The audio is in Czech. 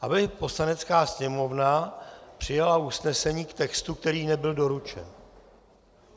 Aby Poslanecká sněmovna přijala usnesení k textu, který nebyl doručen.